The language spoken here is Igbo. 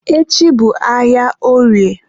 echi bụ ahịa orie.